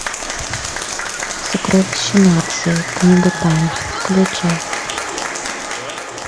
сокровища нации книга тайн включай